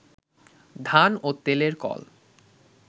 ধান ও তেলের কল